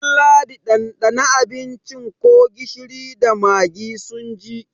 Ɗalladi ɗanɗana abincin ko gishiri da magi sun ji!